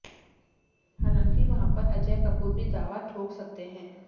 हालांकि वहां पर अजय कपूर भी दावा ठोक सकते हैं